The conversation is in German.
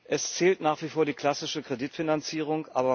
Es zählt nach wie vor die klassische Kreditfinanzierung.